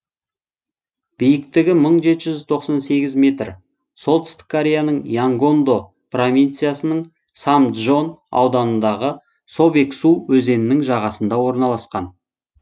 биіктігі мың жеті жүз тоқан сегіз метр солтүстік кореяның янгондо провинциясының самджон ауданындағы собексу өзенінің жағасында орналасқан